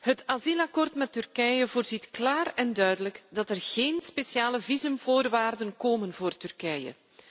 Het asielakkoord met Turkije bepaalt klaar en duidelijk dat er geen speciale visumvoorwaarden komen voor Turkije.